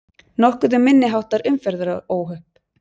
Nokkuð um minniháttar umferðaróhöpp